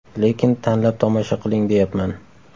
Lekin tanlab tomosha qiling deyapman.